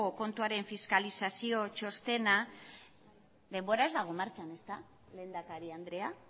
kontuaren fiskalizazio txostena denbora ez dago martxan ezta lehendakari andrea